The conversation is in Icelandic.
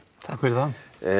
takk fyrir það